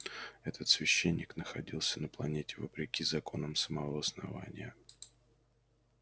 этот священник находился на планете вопреки законам самого основания